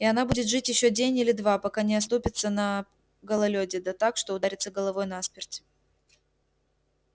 и она будет жить ещё день или два пока не оступится на гололёде да так что ударится головой насмерть